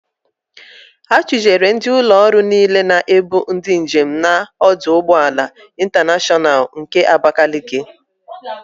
A chụjere ndị ụlọ ọrụ niile na-ebu ndị njem n'ọdụ ụgbọala Ịntaneshọnal nke Abakaliki.